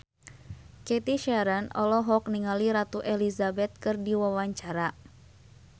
Cathy Sharon olohok ningali Ratu Elizabeth keur diwawancara